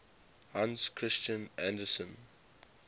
hans christian andersen